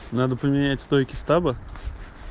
надо поменять стойки стаба